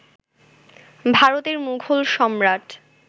ভারতের মুঘল সম্রাট